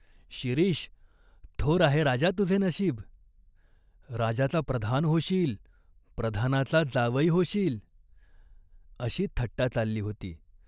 "शिरीष, थोर आहे राजा तुझे नशीब." "राजाचा प्रधान होशील." "प्रधानाचा जावई होशील." अशी थट्टा चालली होती.